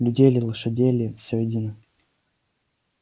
людей ли лошадей ли всё едино